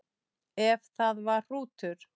Ef það var hrútur.